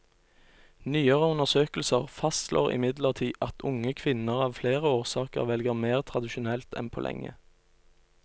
Nyere undersøkelser fastslår imidlertid at unge kvinner av flere årsaker velger mer tradisjonelt enn på lenge.